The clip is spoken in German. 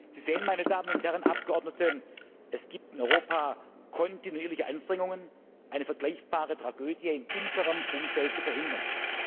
Sie sehen, meine Damen und Herren Abgeordnete, es gibt in Europa kontinuierliche Anstrengungen, eine vergleichbare Tragödie in unserem Umfeld zu verhindern.